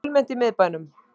Fjölmennt í miðbænum